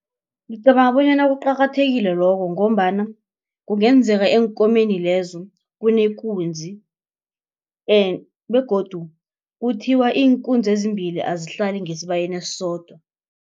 Ngicabanga bonyana kuqakathekile lokho ngombana kungenzeka eenkomeni lezo kunekunzi begodu kuthiwa iinkunzi ezimbili azihlali ngesibayeni esodwa.